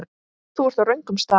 Þú ert á röngum stað